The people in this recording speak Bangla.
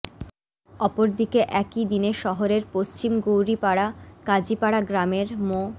অপরদিকে একই দিনে শহরের পশ্চিম গৌরিপাড়া কাজিপাড়া গ্রামের মো